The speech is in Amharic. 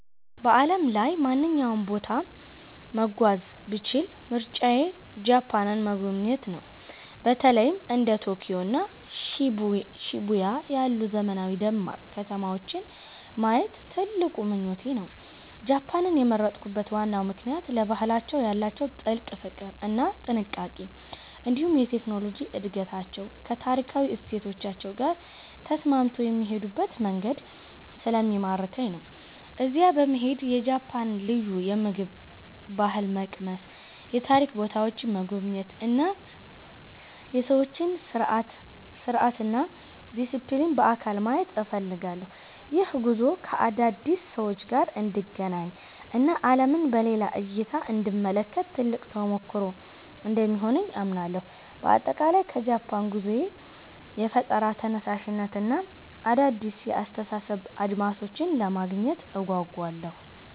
በዓለም ላይ ማንኛውንም ቦታ መጓዝ ብችል ምርጫዬ ጃፓንን መጎብኘት ነው። በተለይም እንደ ቶኪዮ እና ሺቡያ ያሉ ዘመናዊና ደማቅ ከተማዎችን ማየት ትልቅ ምኞቴ ነው። ጃፓንን የመረጥኩበት ዋናው ምክንያት ለባህላቸው ያላቸውን ጥልቅ ፍቅር እና ጥንቃቄ፣ እንዲሁም የቴክኖሎጂ እድገታቸው ከታሪካዊ እሴቶቻቸው ጋር ተስማምቶ የሚሄዱበት መንገድ ስለሚማርከኝ ነው። እዚያ በመሄድ የጃፓንን ልዩ የምግብ ባህል መቅመስ፣ የታሪክ ቦታዎችን መጎብኘት እና የሰዎችን ስርዓትና ዲሲፕሊን በአካል ማየት እፈልጋለሁ። ይህ ጉዞ ከአዳዲስ ሰዎች ጋር እንድገናኝ እና ዓለምን በሌላ እይታ እንድመለከት ትልቅ ተሞክሮ እንደሚሆነኝ አምናለሁ። በአጠቃላይ ከጃፓን ጉዞዬ የፈጠራ ተነሳሽነትን እና አዳዲስ የአስተሳሰብ አድማሶችን ለማግኘት እጓጓለሁ።